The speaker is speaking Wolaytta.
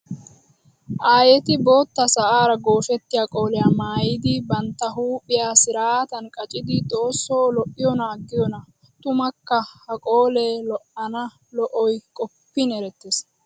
Aayetti bootta sa'ara gooshettiya qoliya maayiddi bantta huuphiya siratan qacciddi xooso lo'iyoonna aggiyoona! Tummakka ha qolee lo'anna lo'oy qoppin erettes.